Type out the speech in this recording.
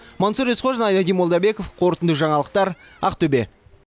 мансұр есқожин айнадин молдабеков қорытынды жаңалықтар ақтөбе